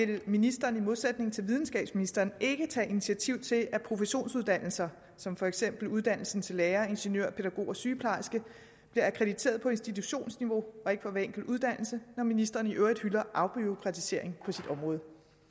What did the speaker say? vil ministeren i modsætning til videnskabsministeren ikke tage initiativ til at professionsuddannelser som for eksempel uddannelsen til lærer ingeniør pædagog og sygeplejerske bliver akkrediteret på institutionsniveau og ikke for hver enkelt uddannelse når ministeren i øvrigt hylder afbureaukratisering på sit område